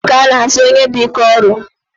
Daalụ ọrụ ka ana asị onye dị ike ọrụ